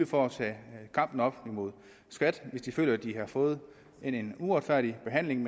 for at tage kampen op imod skat hvis de føler de har fået en uretfærdig behandling